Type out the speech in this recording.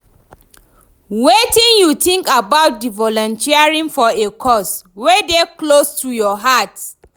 Wetin you think about di volunteering for a cause wey dey close to your heart?